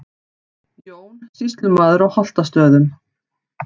Jón, sýslumaður á Holtastöðum.